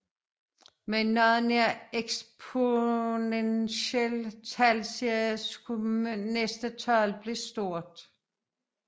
Med en noget nær eksponentiel talserie skulle næste tal blive stort